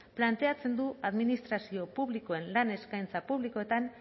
planteatzen du administrazio publikoen lan eskaintza publikoetan